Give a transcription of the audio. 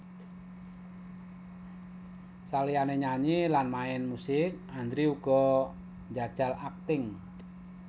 Saliyané nyanyi lan main musik Andre uga njajal akting